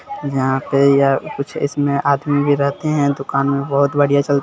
यहाँ पे यह कुछ इसमें आदमी भी रहते है दूकान में बहुत बढ़िया चलती --